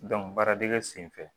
baaradege senfɛ